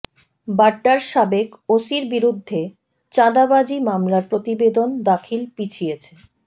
বাড্ডার সাবেক ওসির বিরুদ্ধে চাঁদাবাজি মামলার প্রতিবেদন দাখিল পিছিয়েছে